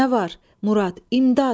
Murad, imdad!